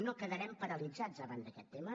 no quedarem paralitzats davant d’aquest tema